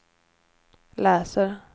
läser